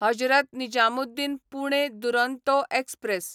Hazrat Nizamuddin Pune Duronto express